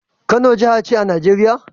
Kano jahace a casar Nigeria